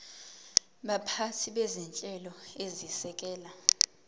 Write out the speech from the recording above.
baphathi bezinhlelo ezisekela